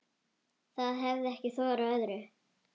Það hefir ekki þorað öðru.